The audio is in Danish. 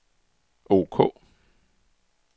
ok